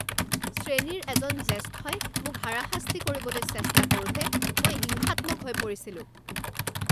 শ্ৰেণীৰ এজন জ্যেষ্ঠই মোক হাৰাশাস্তি কৰিবলৈ চেষ্টা কৰোঁতে মই হিংসাত্মক হৈ পৰিছিলোঁ